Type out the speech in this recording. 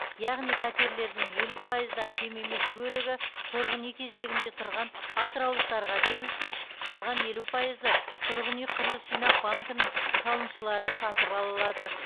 яғни пәтерлердің елу пайыздан кем емес бөлігі тұрғын үй кезегінде тұрған атыраулықтарға берілсе қалған елу пайызы тұрғын үй құрылыс жинақ банкінің салымшылары сатып ала алады